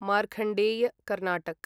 Markandeya Karnataka